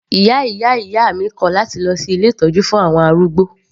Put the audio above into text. Ìyá ìyá ìyá mi kò láti lọ sí ilé ìtọ́jú fún àwọn arúgbó.